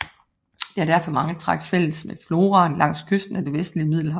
Det har derfor mange træk fælles med floraen langs kysten af det vestlige Middelhav